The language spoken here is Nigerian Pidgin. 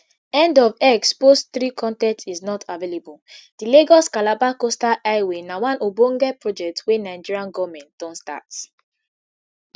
end of x post three con ten t is not available di lagos calabar coastal highway na one ogbonge project wey nigeria goment don start